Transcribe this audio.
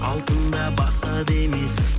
алтын да басқа да емес